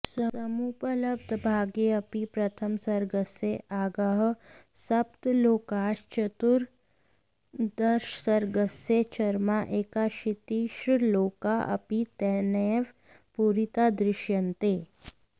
समुपलब्धभागेऽपि प्रथमसर्गस्य आद्याः सप्तश्लोकाश्चतुर्दशसर्गस्य चरमा एकाशीतिश्लोका अपि तेनैव पूरिता दृश्यन्ते